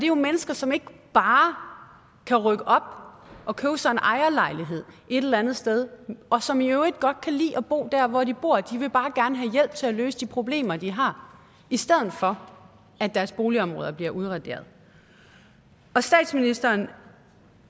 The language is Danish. jo mennesker som ikke bare kan rykke op og købe sig en ejerlejlighed et eller andet sted og som i øvrigt godt kan lide at bo der hvor de bor de vil bare gerne have hjælp til at løse de problemer de har i stedet for at deres boligområder bliver udraderet statsministeren